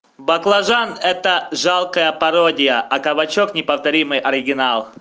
баклажан это жалкая пародия а кабачок неповторимый оригинал